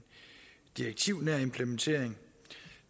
direktivnær implementering